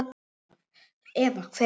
Eva: Hver er lausnin?